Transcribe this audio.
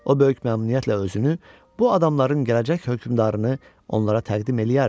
O böyük məmnuniyyətlə özünü bu adamların gələcək hökmdarını onlara təqdim eləyərdi.